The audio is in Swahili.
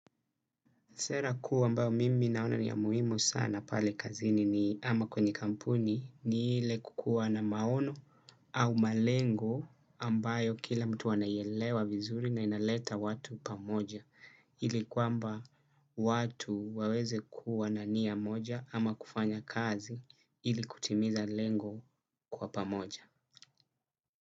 Sera kuu mbayo mimi naona ni ya muhimu sana pale kazini ni ama kwenye kampuni ni ile kukua na maono au malengo ambayo kila mtu anaielewa vizuri na inaleta watu pamoja. Ili kwamba watu waweze kuwa na nia moja ama kufanya kazi, ili kutimiza lengo kwa pamoja.